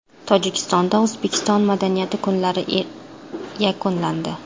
Tojikistonda O‘zbekiston madaniyati kunlari yakunlandi.